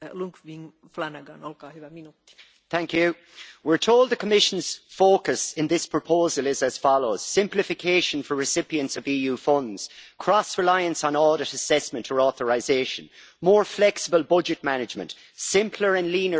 Madam President, we're told the Commission's focus in this proposal is as follows simplification for recipients of EU funds, cross reliance on audit assessment for authorisation, more flexible budget management and simpler and leaner EU administration.